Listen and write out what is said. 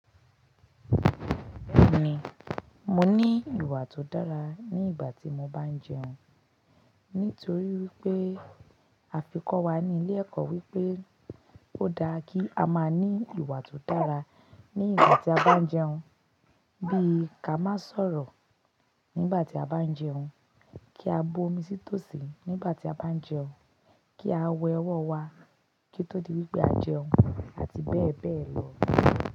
Bẹ́ẹ̀ni, mo ní ìwà tó dára ní ìgbà tí mo bá ń jẹun. Nítorí wípé, afikọ̀wá ní ilé ẹ̀kọ́ wípé, ó dára kí a máa ní ìwà tó dára ní ìgbà tí a bá ń jẹun. Bí i ká má sọ̀rọ̀ nígbà tí a bá ń jẹun, kí a bu omi sí tòsí nígbà tí a bá ń jẹun, kí a wẹ ọwọ́ wa kí tó di wípé a jẹun, àti bẹ́ẹ̀ bẹ́ẹ̀ lọ.